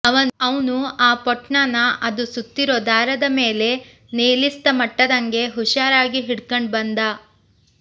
ಅವ್ನು ಆ ಪೊಟ್ಣನ ಅದು ಸುತ್ತಿರೋ ದಾರದ ಮೇಲೆ ನೇಲಿಸ್ತ ಮುಟ್ಟದಂಗೆ ಹುಶಾರಾಗಿ ಹಿಡಕಂಡ್ ಬಂದ